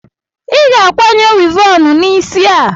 Ị ga-akwanye wivọọnụ n'isi a!